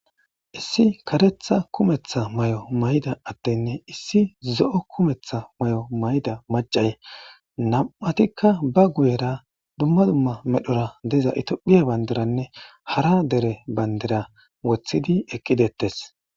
issi karetha kumetha may7o mayda addenne issi zo7o kumetha may7o mayda macay nam7atikka ba guyera dumma dumma medhora diza itiophiya bandiranne hara dere bandira wothidi eqqidettes